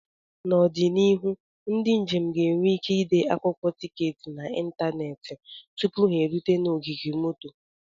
N'ọdịnihu, ndị njem ga-enwe ike ịde akwụkwọ tiketi n'ịntanetị tupu ha erute na ogige moto.